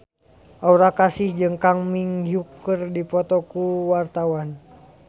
Aura Kasih jeung Kang Min Hyuk keur dipoto ku wartawan